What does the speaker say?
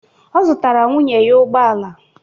Ọ zụtara nwunye ya ụgbọ ala.